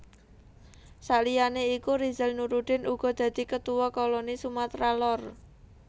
Saliyane iku Rizal Nurdin uga dadi Ketuwa Koni Sumatra Lor